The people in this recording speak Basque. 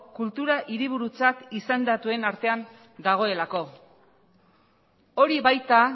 kultura hiriburutzat izendatuen artean dagoelako hori baita